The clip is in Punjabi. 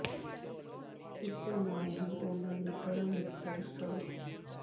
ਇਸ ਦੇ ਨਾਲ ਹੀ ਉਨ੍ਹਾਂ ਦੇ ਪਰਮ ਮਿੱਤਰ ਸ